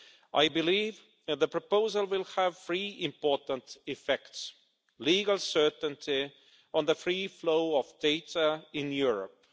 I believe the proposal will have three important effects legal certainty on the free flow of data in Europe